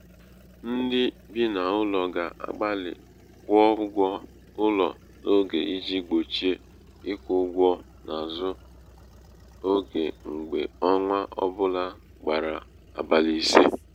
ndị bị n' ụlọ ga-agbalị kwụọ ụgwọ ụlọ n'oge iji gbochie ịkwụ ụgwọ n'azụ oge mgbe ọnwa ọ bụla gbara abalị ise.